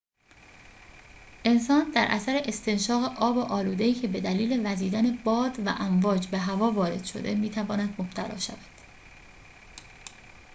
انسان در اثر استنشاق آب آلوده‌ای که به دلیل وزیدن باد و امواج به هوا وارد شده می‌تواند مبتلا شود